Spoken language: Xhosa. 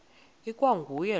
ikwa nguye lowo